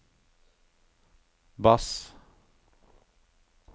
bass